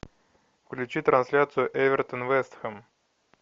включи трансляцию эвертон вест хэм